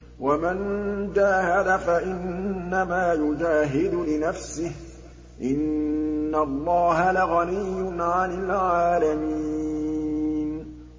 وَمَن جَاهَدَ فَإِنَّمَا يُجَاهِدُ لِنَفْسِهِ ۚ إِنَّ اللَّهَ لَغَنِيٌّ عَنِ الْعَالَمِينَ